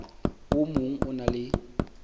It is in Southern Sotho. o mong o na le